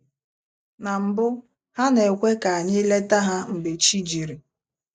Na mbụ, ha na-ekwe ka anyị leta ha mgbe chi jiri.